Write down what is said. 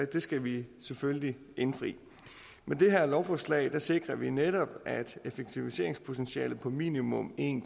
det skal vi selvfølgelig indfri med det her lovforslag sikrer vi netop at effektiviseringspotentialet på minimum en